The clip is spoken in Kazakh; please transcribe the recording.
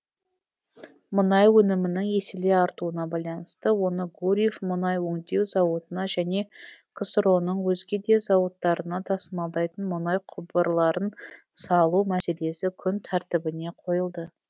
мұнай өнімінің еселей артуына байланысты оны гурьев мұнай өңдеу зауытына және ксро ның өзге де зауыттарына тасымалдайтын мұнай құбырларын салу мәселесі күн тәртібіне қойылды